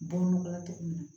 Don nɔgɔ la cogo min na